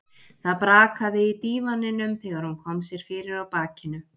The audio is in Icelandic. Það brakaði í dívaninum þegar hún kom sér fyrir á bakinu.